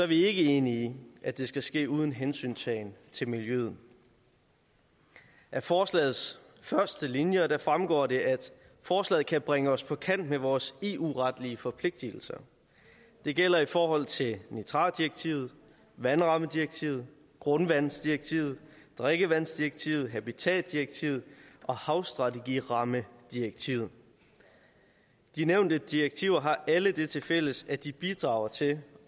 vi ikke enige i at det skal ske uden hensyntagen til miljøet af forslagets første linjer fremgår det at forslaget kan bringe os på kant med vores eu retlige forpligtelser det gælder i forhold til nitratdirektivet vandrammedirektivet grundvandsdirektivet drikkevandsdirektivet habitatdirektivet og havstrategirammedirektivet de nævnte direktiver har alle det tilfælles at de bidrager til